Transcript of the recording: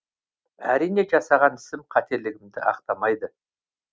әрине жасаған ісім қателікті ақтамайды